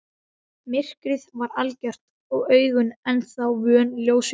Myrkrið var algjört og augun ennþá vön ljósinu.